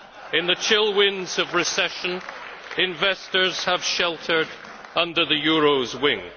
In the chill winds of recession, investors have sheltered under the euro's wing.